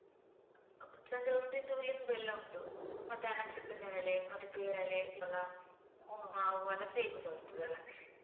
ಒಂದಿದ್ದು ಲಿಂಬು ಎಲ್ಲ ಉಂಟು ಮತ್ತೆ ಆ ನಕ್ಷತ್ರ ನೇರಳೆ ಮತ್ತೆ ಪೇರಳೆ, ಸೀತಾಫಲ ಮಾವು, ಹಲಸೇ ಹೇಗೂಸಾ ಇರ್ತದಲ್ಲ.